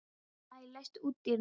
Maj, læstu útidyrunum.